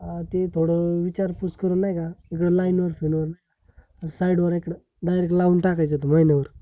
अ ते थोड विचार पूस करून, नाय का? असता न side वर एकड director लाऊन टाकायच मायनर